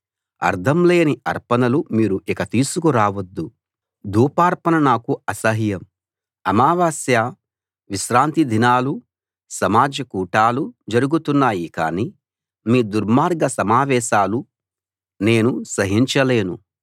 అర్థం లేని అర్పణలు మీరు ఇక తీసుకు రావొద్దు ధూపార్పణ నాకు అసహ్యం అమావాస్య విశ్రాంతి దినాలు సమాజ కూటాలు జరుగుతున్నాయి కాని మీ దుర్మార్గ సమావేశాలు నేను సహించలేను